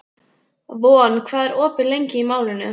Von, hvað er opið lengi í Málinu?